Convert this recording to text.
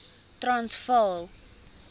transvaal